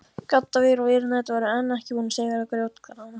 Gaddavír og vírnet voru enn ekki búin að sigra grjótgarðana.